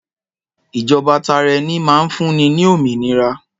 Ìjọba tara ẹni máa ń fúnni ní òmìnira.